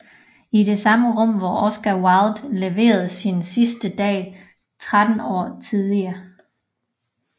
I de samme rum hvor Oscar Wilde levede sine sidste dage 13 år tidigere